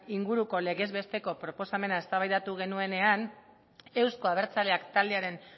inguruko legez besteko proposamena eztabaidatu genuenean euzko abertzaleak taldearen